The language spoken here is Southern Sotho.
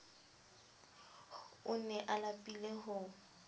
o ne a lapile ho